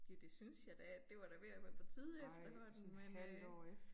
Jo det synes jeg da at det var da ved at være på tide efterhånden men øh